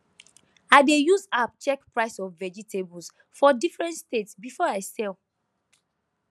i dey use app check price of vegetables for different state before i sell